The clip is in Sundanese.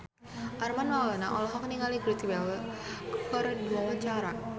Armand Maulana olohok ningali Gareth Bale keur diwawancara